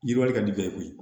Yiriwali ka di bɛɛ ye koyi